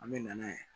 An bɛ na n'a ye